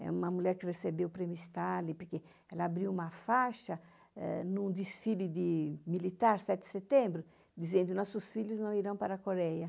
É uma mulher que recebeu o Prêmio Stalin, porque ela abriu uma faixa num desfile militar, sete de setembro, dizendo que nossos filhos não irão para a Coreia.